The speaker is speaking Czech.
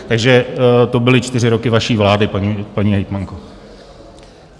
Takže to byly čtyři roky vaší vlády, paní hejtmanko.